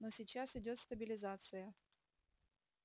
но сейчас идёт стабилизация